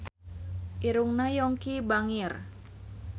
Irungna Yongki bangir